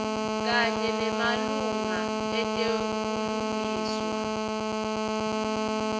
kanye nemalunga etebulungiswa